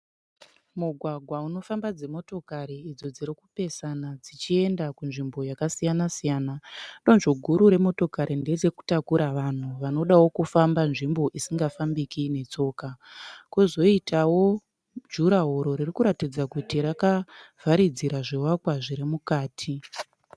Mugwagwa unofamba dzimotokari idzo dzirikupesana dzichienda kunzvimbo yakasiyana-siyana. Donzvo guru remotokari nderekutakura vanhu vanodawo kufamba nzvimbo isingafambiki netsoka. Kozoitawo jura woro riri kuratidza kuti rakavharidzira zvivakwa zvirimukati.